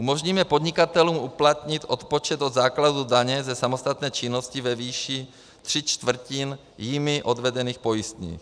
Umožníme podnikatelům uplatnit odpočet od základu daně ze samostatné činnosti ve výši tří čtvrtin jimi odvedených pojistných.